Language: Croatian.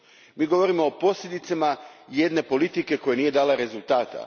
Mi govorimo o posljedicama jedne politike koja nije dala rezultata.